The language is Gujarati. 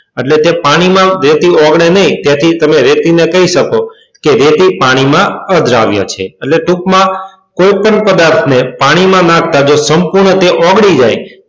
એટલે કે પાણીમાં જે જેથી ઓગળી નહીં એથી જ તમે રેતી ને કહી શકો રેતી પાણીમાં અદ્રાવ્ય છે. એટલે કે ટૂંકમાં કોઈપણ પદાર્થને પાણીમાં નાખતા જો સંપૂર્ણ ઓગળી જાય,